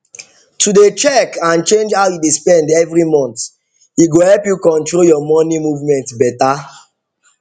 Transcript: to dey check and change how you dey spend every month e go help you control your money movement beta